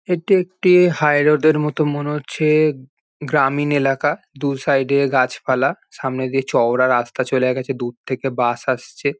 এটি একটি হাইরোড -এর মতো মনে হচ্ছে। গ্রামীণ এলাকা দু সাইড -এ গাছপালা সামনে দিয়ে চওড়া রাস্তা চলে গেছে দূর থেকে বাস আসছে।